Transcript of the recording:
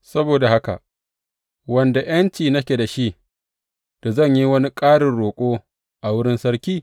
Saboda haka, wanda ’yanci nake da shi da zan yi wani ƙarin roƙo a wurin sarki?